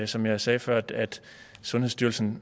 som jeg sagde før at sundhedsstyrelsen